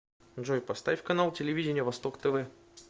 джой поставь канал телевидения восток тв